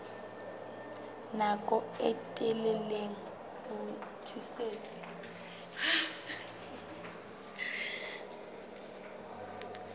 nako e telele ho tiisitse